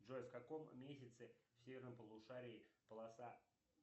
джой в каком месяце в северном полушарии полоса